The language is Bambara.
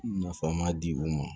Nafa ma di u ma